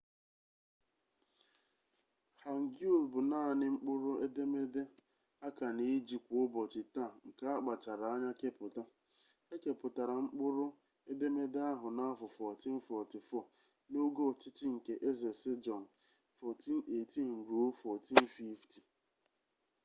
hangeul bụ naanị mkpụrụ edemede a ka na-eji kwa ụbọchị taa nke akpachara anya kepụta. e kepụtara mkpụrụ edemede ahụ n'afọ 1444 n'oge ọchịchị nke eze sejong 1418 – 1450